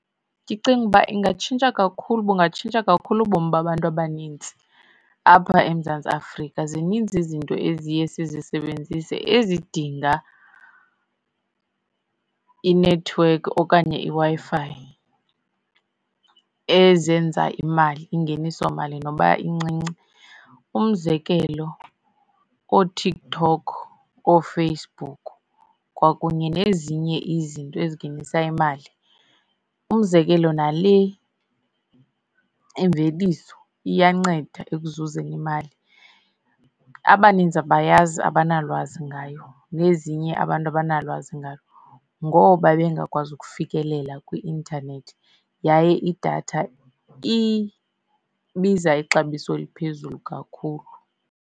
Ndicinga uba ingatshintsha kakhulu, bungatshintsha kakhulu ubomi babantu abanintsi apha eMzantsi Afrika. Zininzi izinto eziye sizisebenzise ezidinga inethiwekhi okanye iWi-Fi ezenza imali, ingenisomali noba incinci. Umzekelo, kooTikTok, ooFacebook kwakunye nezinye izinto ezingenisa imali. Umzekelo, nale imveliso iyanceda ekuzuzeni imali. Abaninzi abayazi, abanalwazi ngayo nezinye abantu abanalwazi ngalo ngoba bengakwazi ukufikelela kwi-intanethi yaye idatha ibiza ixabiso eliphezulu kakhulu.